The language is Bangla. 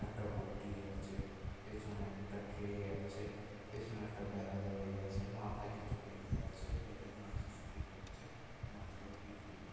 একটা বঁটি আছে পেছনে একটা ট্রে আছে পেছনে একটা বেড়া দেওয়া এ আছে মাথায় কিছু বেঁধে আছে। বেঁধে মাছ বিক্রি করছে। মাছ গুলো বিক্রি হ --